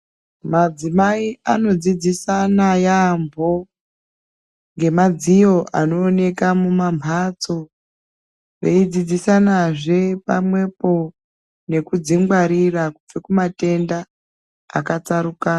Madzimai ano dzidzisana yaamho ngemadziyo anooneka mumamhatso vei dzidzisana zve pamwepo neku dzingwarira kubva kumatenda akatsarukana.